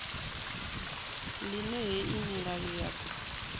ḽine hei milayo ya ḓo